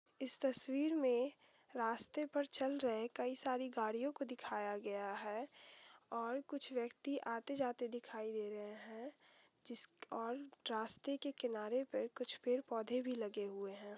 इस तस्वीर में रास्ते पर चल रहे कई सारी गाड़ीयो को दिखाया गया हैं और कुछ व्यक्ति आते जाते दिखाई दे रहे हैं जिस और रास्ते के किनारे पे कुछ पेड़ पौधे भी लगे हुए हैं।